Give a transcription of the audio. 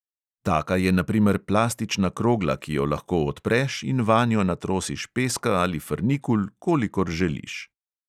Taka je na primer plastična krogla, ki jo lahko odpreš in vanjo natrosiš peska ali frnikul, kolikor želiš.